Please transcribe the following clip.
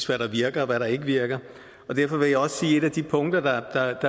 hvad der virker og hvad der ikke virker derfor vil jeg også sige at et af de punkter der